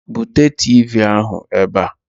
Bute Tiivii ahụ ebe a!